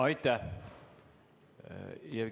Aitäh!